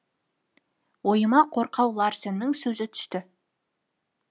ойыма қорқау ларсеннің сөзі түсті